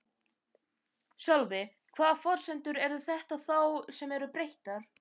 Sölvi: Hvaða forsendur eru þetta þá sem eru breyttar?